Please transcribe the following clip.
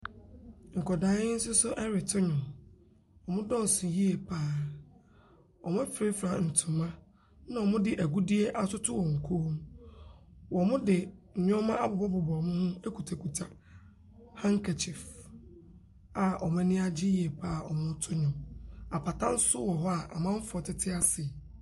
Nkwadaa yi soso ɛreto ndwom. Ɔmo dɔɔso yie paa. Ɔmo efrafra ntoma ɛna ɔmo de egudie atoto ɔmo kɔn mu. Ɔmo de neɔma abobɔ bobɔ ɔmo ho ekutakuta hadkɛkyiif a ɔmo eni agye yie paa a ɔmo to ndwom. Apata so wɔ hɔ a amanfoɔ tete ase.